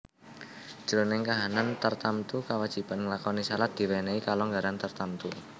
Jroning kahanan tartamtu kawajiban nglakoni shalat diwènèhi kalonggaran tartamtu